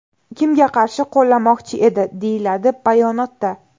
Kimga qarshi qo‘llamoqchi edi?”, deyiladi bayonotda.